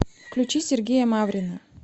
включи сергея маврина